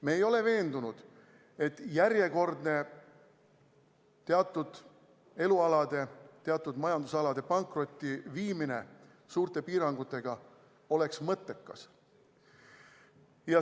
Me ei ole veendunud, et järjekordne teatud elualade, teatud majandusalade pankrotti viimine suurte piirangutega oleks mõttekas.